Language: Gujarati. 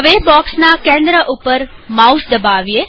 બોક્ષના મધ્ય પર માઉસ દબાવીએ